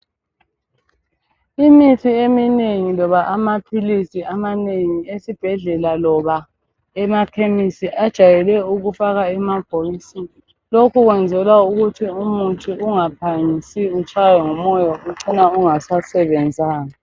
Imithi eminengi labo amaphilisi amanengi esibhedlela loba emakhemesi ajayele ukufakwa emabhokisini lokhu kwenzelwa umuthi ungaphangisi utshaywe ngumoya uvcine ungasasebenzanga.